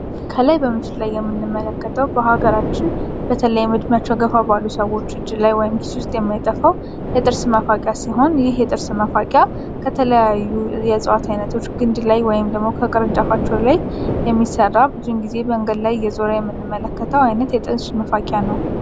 ከላይ በምስሉ የምንመለከተው በሃገራችን በተለይ እድሜያቸው ገፋ ባለ ሰዎች እጅ ወይም ኪስ ውስጥ የማይጠፋ የጥርስ መፋቂያ ሲሆን ይህ የጥርስ መፋቂያ ከተለይዩ የእጽዋት አይነቶች ኝድ ላይ ወይም ደሞ ከቅርጫፋቸው ላይ የሚሰራ ብዙ ጊዜ መንገድ ላይ እየዞረ የምንመለከተው የጥርስ መፋቂያ ነው።